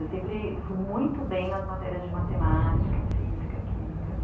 Eu sempre fui muito bem nas matérias de matemática, física, química, né?